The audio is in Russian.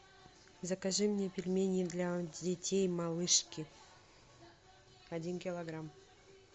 закажи мне пельмени для детей малышки один килограмм